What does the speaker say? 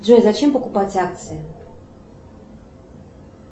джой зачем покупать акции